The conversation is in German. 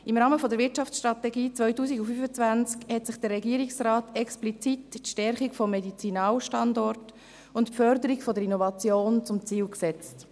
Im Rahmen der Wirtschaftsstrategie 2025 hat sich der Regierungsrat explizit die Stärkung des Medizinstandorts und die Förderung von Innovationen zum Ziel gesetzt.